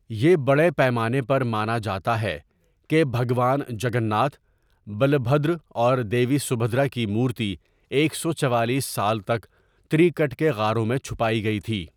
یہ بڑے پیمانے پر مانا جاتا ہے کہ بھگوان جگن ناتھ، بلبھدر اور دیوی سبھدرا کی مورتی ایک سو چوالیس سال تک تری کٹ کے غاروں میں چھپائی گئی تھی۔